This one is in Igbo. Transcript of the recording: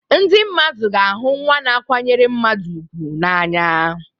Ndị mmadụ ga-ahụ nwa na-akwanyere mmadụ ùgwù n'anya.